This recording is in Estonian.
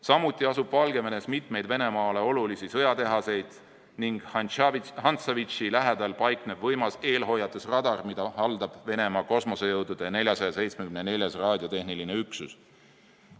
Samuti asuvad Valgevenes mitu Venemaale olulist sõjatehast ning Hantsavitši lähedal paiknev võimas eelhoiatusradar, mida haldab Venemaa kosmosejõudude 474. raadiotehniline üksus.